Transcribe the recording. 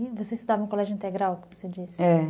E você estudava no colégio integral, como você disse? é.